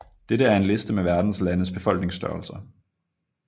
Dette er en liste med Verdens landes befolkningsstørrelser